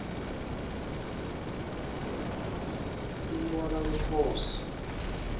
incwala yenkhosi